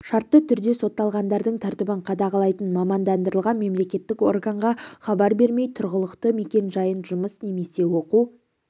шартты түрде сотталғандардың тәртібін қадағалайтын мамандандырылған мемлекеттік органға хабар бермей тұрғылықты мекенжайын жұмыс немесе оқу